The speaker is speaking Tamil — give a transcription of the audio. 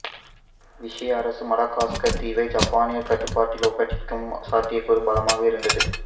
விஷி அரசு மடகாஸ்கர் தீவை ஜப்பானியர் கட்டுப்பாட்டில் ஒப்படைக்கும் சாத்தியக்கூறு பலமாக இருந்தது